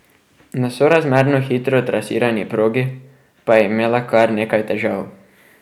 Na sorazmerno hitro trasirani progi pa je imela kar nekaj težav.